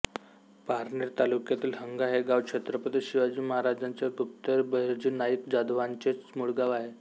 पारनेर तालुक्यातील हंगा हे गाव छत्रपति शिवाजी महाराजांचे गुप्तहेर बहिर्जी नाईक जाधवयांचेव मुळगाव आहे